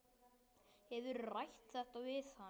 Hefurðu rætt þetta við hann?